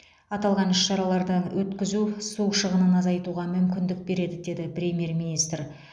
аталған іс шараларды өткізу су шығынын азайтуға мүмкіндік береді деді премьер министр